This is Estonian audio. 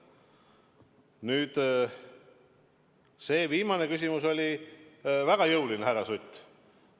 Nüüd, see viimane küsimus oli väga jõuline, härra Sutt.